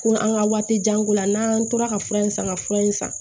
Ko na an ka waati janko la n'an tora ka fura in san ka fura in san